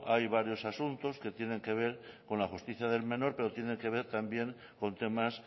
hay varios asuntos que tienen que ver con la justicia del menor pero tienen que ver también con temas